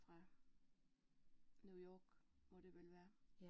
Fra New York må det vel være